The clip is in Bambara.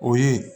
O ye